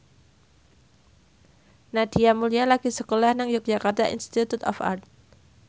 Nadia Mulya lagi sekolah nang Yogyakarta Institute of Art